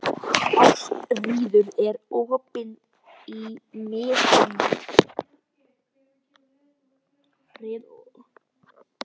Ástríður, er opið í Miðeind?